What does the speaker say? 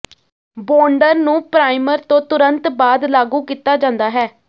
ਬੌਂਡਰ ਨੂੰ ਪਰਾਈਮਰ ਤੋਂ ਤੁਰੰਤ ਬਾਅਦ ਲਾਗੂ ਕੀਤਾ ਜਾਂਦਾ ਹੈ